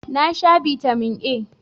Na sha Bitamin A.